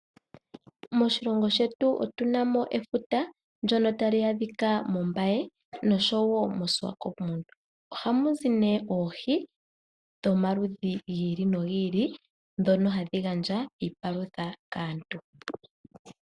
Moshilongo shetu otu na mo efuta, ndyono tali adhika mOmbaye nosho wo moSwakopmund. Ohamu zi nduno oohi dhomaludhi gi ili nogi ili ndhono hadhi gandja iipalutha kaantu.